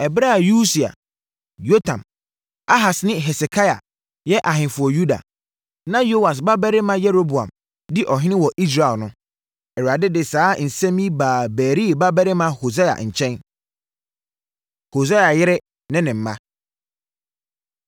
Ɛberɛ a Usia, Yotam, Ahas ne Hesekia yɛ ahemfo wɔ Yuda, na Yoas babarima Yeroboam di ɔhene wɔ Israel no, Awurade de saa nsɛm yi baa Beeri babarima Hosea nkyɛn. Hosea Yere Ne Ne Mma